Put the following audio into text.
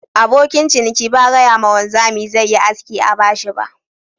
Abokin ciniki ba gaya ma wanzami zai Yi aski a bashi ba.